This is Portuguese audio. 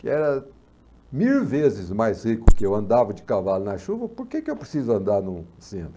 que era mil vezes mais rico que eu, andava de cavalo na chuva, por que que eu preciso andar no centro?